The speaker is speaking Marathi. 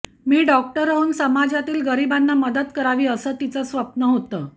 मी डॉक्टर होऊन समाजातील गरिबांना मदत करावी असं तिचं स्वप्न होतं